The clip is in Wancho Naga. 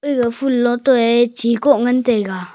aga phul loto eh chhi koh ngan tega.